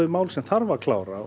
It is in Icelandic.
mál sem þarf að klára